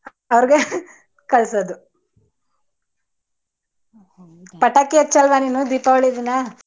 ಅವರ್ಗೆ ಕಳಸೋದು. ಪಟಾಕಿ ಹಚ್ಚಲ್ಲವ ನೀನು ದೀಪಾವಳಿ ದಿನ?